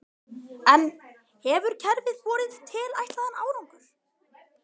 En hefur kerfið borið tilætlaðan árangur?